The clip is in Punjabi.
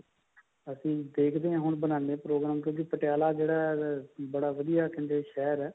ਅਸੀਂ ਦੇਖਦੇ ਹਾਂ ਹੁਣ ਬਣਾਉਂਦੇ ਹਾਂ program ਕਿਉਂਕਿ ਪਟਿਆਲਾ ਜਿਹੜਾ ਕਹਿੰਦੇ ਬੜਾ ਵਧੀਆ ਸ਼ਹਿਰ ਹੈ